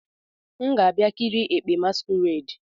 M ga-abia ikiri ekpe" masquerade."